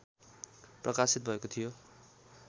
प्रकाशित भएको थियो